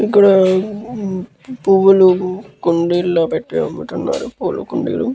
ఇక్కడ పువ్వులు కుండీలో పెట్టీ అమ్ముతున్నారు పూలుకుండీలు.